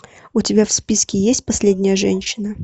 у тебя в списке есть последняя женщина